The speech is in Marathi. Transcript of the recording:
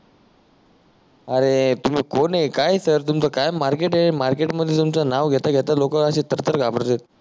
अरे तुम्ही कोण आहे काय आहे सर तुमच काय मार्केट आहे मार्केट मध्ये तुमच नाव घेता घेता लोक आशे थर थर घाबरतेत